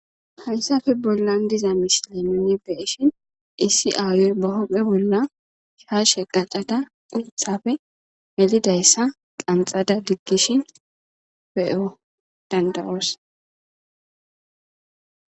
Hayssape bollan diza miishshata nuni be'ishin issi aayoy ba huphe bolla shaashe qaccadda uuththape melidayssa qanxxada digishin be'o dandda'oos.